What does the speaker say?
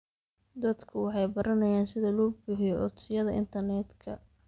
Dadku waxay baranayaan sida loo buuxiyo codsiyada internetka.